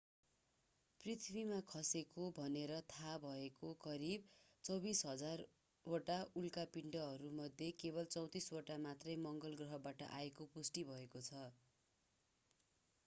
पृथ्वीमा खसेको भनेर थाहा भएका करिब 24,000 वटा उल्का पिण्डमध्ये केवल 34 वटा मात्रै मंगल ग्रहबाट आएको पुष्टि भएको छ